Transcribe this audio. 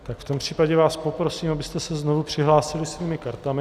Tak v tom případě vás poprosím, abyste se znovu přihlásili svými kartami.